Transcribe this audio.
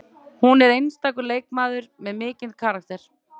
Hún er einstakur leikmaður með mikinn karakter